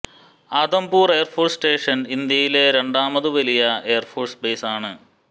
Adampur air force station ഇന്ത്യയിലെ രണ്ടാമതു വലിയ എയർ ഫോഴ്സ് ബേസ് ആണ്